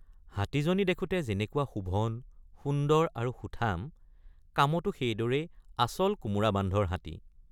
হাতীজনী দেখোঁতে যেনেকুৱা শোভন সুন্দৰ আৰু সুঠাম কামতো সেইদৰেই আচল কোমোৰা বান্ধৰ হাতী।